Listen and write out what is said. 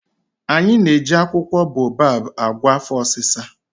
Anyị na-eji akwụkwọ boababụ agwọ afọ ọsịsa.